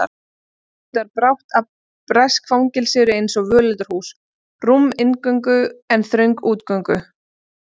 Hann uppgötvar brátt að bresk fangelsi eru einsog völundarhús, rúm inngöngu en þröng útgöngu